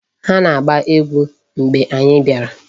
Ha na-agba egwu mgbe anyị bịara.